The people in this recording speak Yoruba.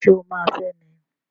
Ṣé o máa fẹ́ mi?